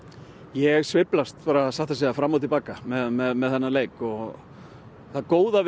ég sveiflast satt að segja fram og til baka með þennan leik það góða